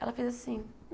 Ela fez assim.